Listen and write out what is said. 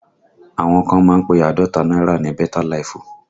Àwọn kan máa ń pe Àádọ́ta náírà ní beta laifu